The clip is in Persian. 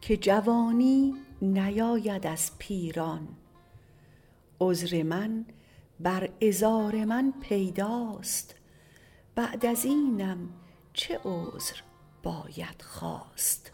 که جوانی نیاید از پیران عذر من بر عذار من پیداست بعد ازینم چه عذر باید خواست